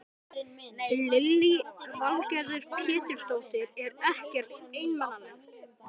Lillý Valgerður Pétursdóttir: Er ekkert einmanalegt?